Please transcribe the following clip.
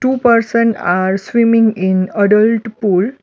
Two person are swimming in adult pool.